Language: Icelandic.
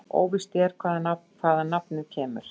Óvíst er hvaðan nafnið kemur.